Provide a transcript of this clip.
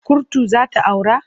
Kurtu za ta aura?